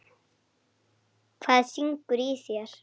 Hvað syngur í þér?